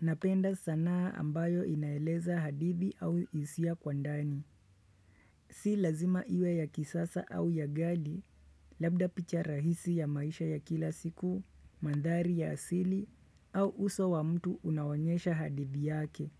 Napenda sanaa ambayo inaeleza hadithi au hiisia kwa ndani. Si lazima iwe ya kisasa au ya ghali, labda picha rahisi ya maisha ya kila siku, mandhari ya asili, au uso wa mtu unaonyesha hadithi yake.